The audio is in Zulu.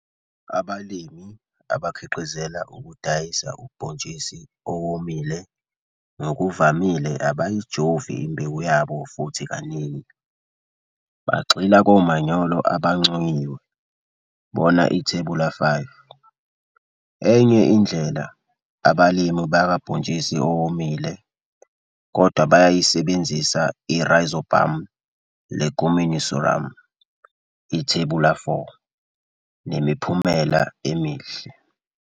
Abalimi abakhiqizela ukudayisa ubhontshisi owomile ngokuvamile abayijovi imbewu yabo futhi kaningi, bagxila komanyolo abanconyiwe, bona Ithebula 5. Enye indlela, abalimi bakabhontshisi owowmile, kodwa, bayayisebenzisa i-Rhizobium leguminosarum, Ithebula 4, nemiphumela emihle.